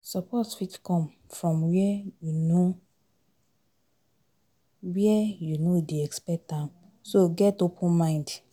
Support fit come from where you no where you no dey expect am so, get open mind